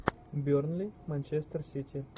бернли манчестер сити